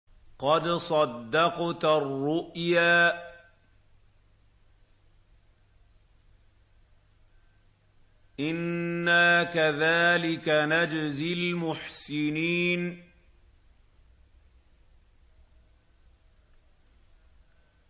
قَدْ صَدَّقْتَ الرُّؤْيَا ۚ إِنَّا كَذَٰلِكَ نَجْزِي الْمُحْسِنِينَ